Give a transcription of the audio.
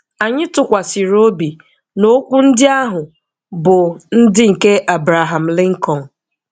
Anyị tụkwasịrị obi na okwu ndị ahụ bụ ndị nke Abraham Lincoln.